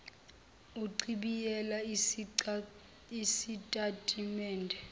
uchibiyele isitati mende